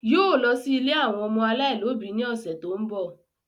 Yóò lọ sí ilé àwọn ọmọ aláìlóbi ní ọ̀sẹ̀ tó ń bọ̀